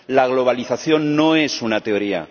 La globalización no es una teoría.